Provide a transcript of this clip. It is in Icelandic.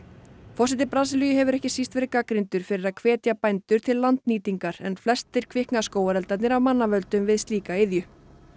forseti Brasilíu hefur ekki síst verið gagnrýndur fyrir að hvetja bændur til að landnýtingar en flestir kvikna skógareldarnir af mannavöldum við slíka iðju